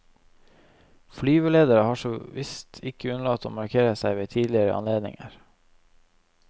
Flyvelederne har såvisst ikke unnlatt å markere seg ved tidligere anledninger.